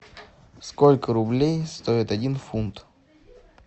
сколько рублей стоит один фунт